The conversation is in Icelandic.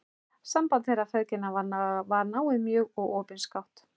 Samband þeirra feðginanna var náið mjög og opinskátt.